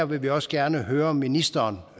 vil vi også gerne her høre ministeren